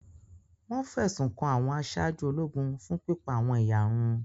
Wọ́n fẹ̀sùn kan àwọn aṣáájú ológun fun pipa awọ́n eyarun